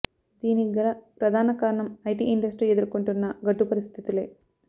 దీనికి గల ప్రధాన కారణం ఐటీ ఇండస్ట్రీ ఎదుర్కొంటున్న గడ్డు పరిస్థితులే